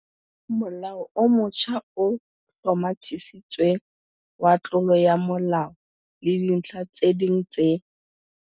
Molao o motjha o Hlomathisitsweng wa Tlolo ya molao le Dintlha tse ding tse